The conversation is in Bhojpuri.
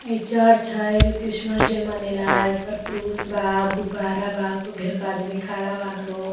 हइ चर्च है एजो क्रिसमस डे मनेला ह इ ऊपर क्रूज बा गुब्बरा बा खूब ढेर के आदमी खाड़ा बाने लोग।